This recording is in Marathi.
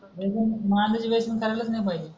नाही पण नॉनव्हेज वेसण खालच नाही पाहिजे